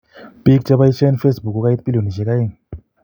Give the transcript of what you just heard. Biik chebaisien facebook kokait bilionisiek 2